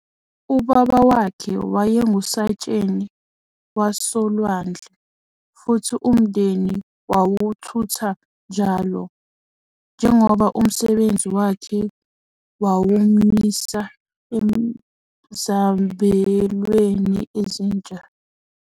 Ubaba wakhe wayengusayitsheni wasolwandle, futhi umndeni wawuthutha njalo, njengoba umsebenzi wakhe wawumyisa ezabelweni ezintsha.